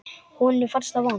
Honum fannst það vont.